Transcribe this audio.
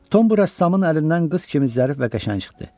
Tom bu rəssamın əlindən qız kimi zərif və qəşəng çıxdı.